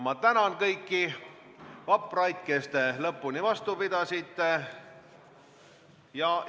Ma tänan kõiki vapraid, kes te lõpuni vastu pidasite!